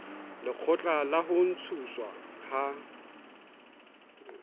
lekgotla la ho ntshuwa ha